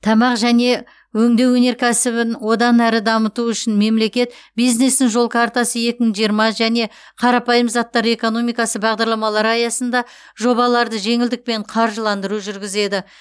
тамақ және өңдеу өнеркәсібін одан әрі дамыту үшін мемлекет бизнестің жол картасы екі мың жиырма және қарапайым заттар экономикасы бағдарламалары аясында жобаларды жеңілдікпен қаржыландыру жүргізеді